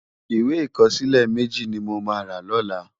Iwé ikòsilè mèji ni mó má rá lòlá